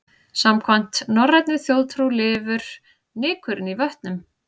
Samkvæmt norrænni þjóðtrú lifur nykurinn í vötnum.